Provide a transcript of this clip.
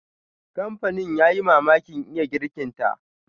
Kamfanin ya yi mamakin iya girkinta.